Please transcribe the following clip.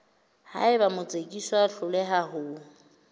haeba motsekiswa a hloleha ho